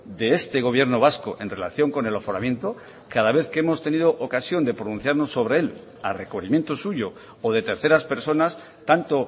de este gobierno vasco en relación con el aforamiento cada vez que hemos tenido ocasión de pronunciarnos sobre él a requerimiento suyo o de terceras personas tanto